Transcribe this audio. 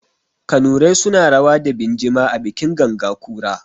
Kanurai suna rawa da binjima a bikin ganga ƙura.